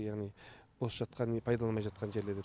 яғни бос жатқан пайдаланылмай жатқан жерлер деп